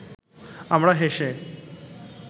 আমরা হেসে